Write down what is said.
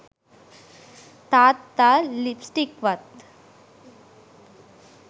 තාත්තා ලිප්ස්ටික්වත්